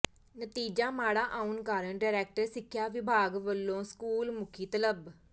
ਨਤੀਜਾ ਮਾੜਾ ਆਉਣ ਕਾਰਨ ਡਾਇਰੈਕਟਰ ਸਿੱਖਿਆ ਵਿਭਾਗ ਵਲੋਂ ਸਕੂਲ ਮੁਖੀ ਤਲਬ